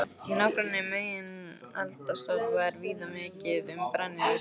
Í nágrenni megineldstöðva er og víða mikið um brennisteinskís.